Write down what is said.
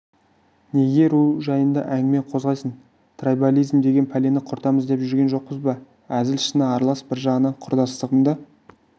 неге ру жайында әңгіме қозғайсың трайбализм деген пәлені құртамыз деп жүрген жоқпыз ба әзіл-шыны аралас бір жағынан құрдастығымды